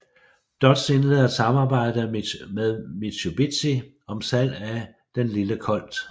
Dodge indleder et samarbejde med Mitsubishi om salg af den lille Colt